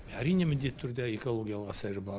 әрине міндетті түрде экологиялық әсері бар